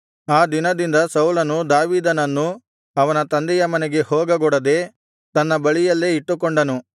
ಆ ದಿನದಿಂದ ಸೌಲನು ದಾವೀದನನ್ನು ಅವನ ತಂದೆಯ ಮನೆಗೆ ಹೋಗಗೊಡದೇ ತನ್ನ ಬಳಿಯಲ್ಲೇ ಇಟ್ಟುಕೊಂಡನು